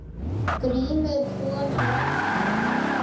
GRÍMUR: Svona læknir.